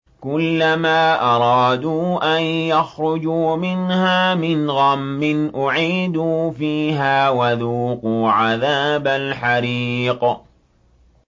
كُلَّمَا أَرَادُوا أَن يَخْرُجُوا مِنْهَا مِنْ غَمٍّ أُعِيدُوا فِيهَا وَذُوقُوا عَذَابَ الْحَرِيقِ